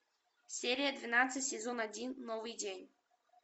серия двенадцать сезон один новый день